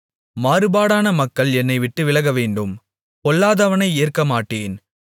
மாறுபாடான மக்கள் என்னைவிட்டு விலகவேண்டும் பொல்லாதவனை ஏற்கமாட்டேன்